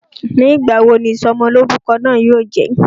Nígbà wo ni Ìsọmọlọ́rúkọ náà yóò jẹ?